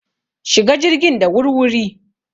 Shiga jirgin da wur-wuri!